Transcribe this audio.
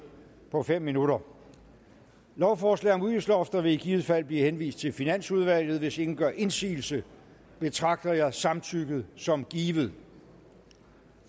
på fem minutter lovforslag om udgiftslofter vil i givet fald blive henvist til finansudvalget hvis ingen gør indsigelse betragter jeg samtykket som givet